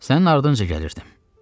Sənin ardınca gəlirdim.